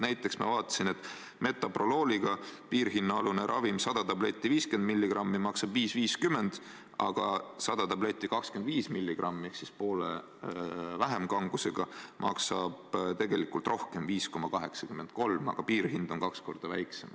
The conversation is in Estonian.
Näiteks, ma vaatasin, et metoprolooliga piirhinnaaluse ravimi 100 50-milligrammist tabletti maksab 5,50, aga 100 25-milligrammist ehk poole vähem kanget tabletti maksab tegelikult rohkem, 5,83, kuid piirhind on kaks korda väiksem.